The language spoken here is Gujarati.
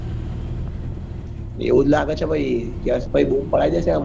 એવું જ લાગે છે ભાઈ યશ ભાઈ બુમ પડાઈ દેશે આં movie